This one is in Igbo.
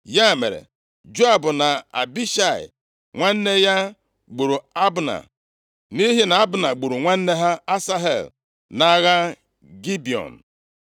Ya mere, Joab na Abishai nwanne ya gburu Abna, nʼihi na Abna gburu nwanne ha Asahel nʼagha Gibiọn.